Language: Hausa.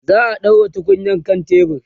za'a ɗaura tukunyar kan tebur